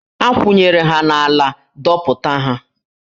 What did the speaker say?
A kwụnyere ha n'ala, dọpụta ha!